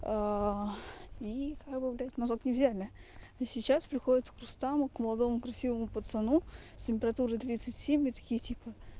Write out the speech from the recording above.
и как бы блядь мазок не взяли а сейчас приходят к рустаму к молодому красивому пацану с температурой тридцать семь и такие типа